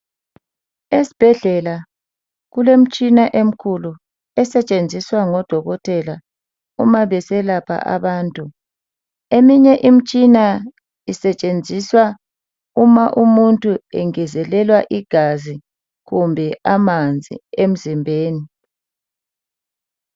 Esibhedlela kulemtshina emikhulu esetshenziswa ngodokotela uma beselapha abantu. Eminye imtshina isetshenziswa uma umuntu engezelelwa igazi kumbe amanzi emzimbeni.